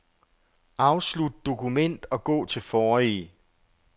Afslut dokument og gå til forrige.